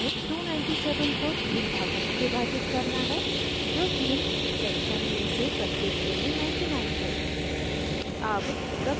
अतः हमें 297 को 3 भागों में विभाजित करना है जो तीन sections में से प्रत्येक के लिए 99 है